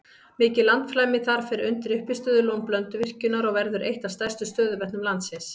Mikið landflæmi þar fer undir uppistöðulón Blönduvirkjunar og verður eitt af stærstu stöðuvötnum landsins.